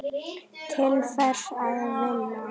Til hvers að vinna?